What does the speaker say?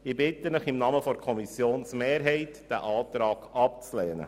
Ich bitte Sie im Namen der Kommissionsmehrheit, diesen Antrag abzulehnen.